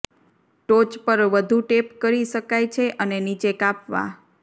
ટોચ પર વધુ ટેપ કરી શકાય છે અને નીચે કાપવા